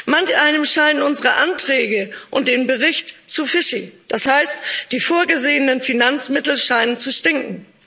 Manch einem scheinen unsere Anträge und der Bericht zu fishy das heißt, die vorgesehenen Finanzmittel scheinen zu stinken.